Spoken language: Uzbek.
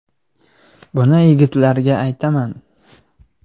Buni yigitlarga aytaman.